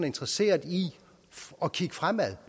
interesseret i at kigge fremad